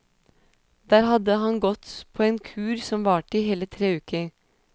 Der hadde han gått på en kur som varte i hele tre uker.